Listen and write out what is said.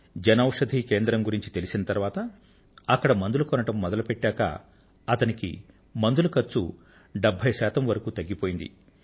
జన ఔషధీ కేంద్రం గురించి తెలిసిన తరువాత అక్కడ మందులు కొనడం మొదలుపెట్టాక అతనికి మందుల ఖర్చు 75 శాతం వరకు తగ్గిపోయింది